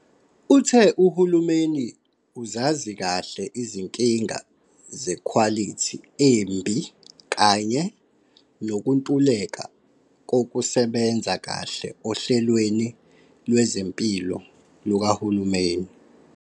Uthe uhulumeni uzazi kahle izinkinga zekhwalithi embi kanye nokuntuleka kokusebenza kahle ohlelweni lwezempilo lukahulumeni.